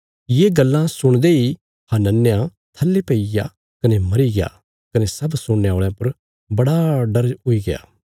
ये गल्लां सुणदे इ हनन्याह थल्ले पईग्या कने मरीग्या कने सब सुणने औल़यां पर बड़ा डर हुई गया